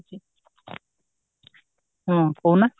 ହଁ କହୁନା